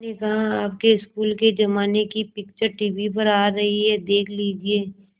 मैंने कहा आपके स्कूल के ज़माने की पिक्चर टीवी पर आ रही है देख लीजिये